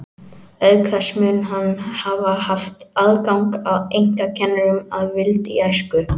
Auk þess mun hann hafa haft aðgang að einkakennurum að vild í æsku.